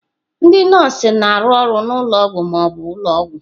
Ndị nọọsụ na-arụ ọrụ na ụlọ ọgwụ ma ọ bụ ụlọ ọgwụ.